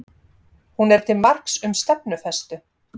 Hún er til marks um stefnufestu